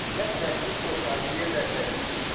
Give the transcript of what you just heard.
nemzetbiztonsági érdekei is.